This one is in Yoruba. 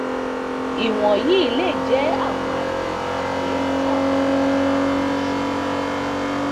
iwọnyi le jẹ awọn aye ibugbe tabi awọn aye iṣowo